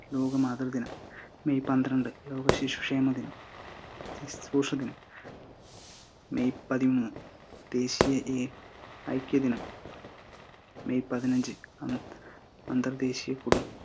ലോക മാതൃ ദിനം, മെയ്യ് പത്രണ്ട് ലോക ശിശു ക്ഷേമ ദിനം, മെയ്യ്‌ പതിമൂന്ന് ദേശീയ എ~ഐക്യദിന മെയ്യ്‌ പതിനഞ്ച് അ~അന്തർ ദേശിയ കുടം